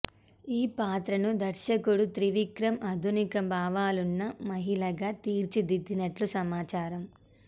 ఈ పాత్రను దర్శకుడు త్రివిక్రమ్ ఆధునిక భావాలున్న మహిళగా తీర్చిదిద్దినట్టు సమాచారం